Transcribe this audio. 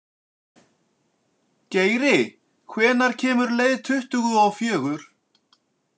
Geiri, hvenær kemur leið tuttugu og fjögur?